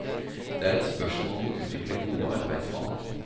Det er et spørsmål om å utvikle gode arbeidsvaner.